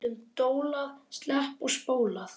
Stundum dólað, sleppt og spólað.